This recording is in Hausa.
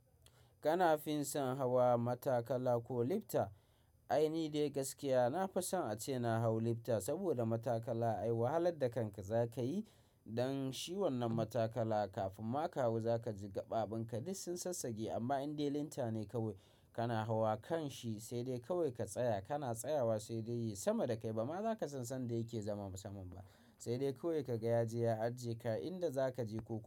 Kana fin son hawa matakala ko lifta? Ai ni dai gaskiya nafi son ace na hau lifta saboda matakala ai wahalar da kanka za ka yi don shi wannan matakala kafin ma ka hau za ka ji gaɓaɓin ka duk sun sassage. Amma in dai lifta ne kawai kana hawa kanshi sai dai kawai ka tsaya kana tsayawa sai dai yi sama da kai ba ma za ka san sanda yake zama saman ba. Sai dai kawai ka ga ya je ya ajiye ka inda za ka je ko.